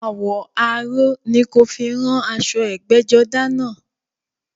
Àwọ̀ aró ni kí o fi rán aṣọ ẹgbẹ́jọdá náà